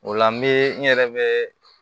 O la n bɛ n yɛrɛ bɛ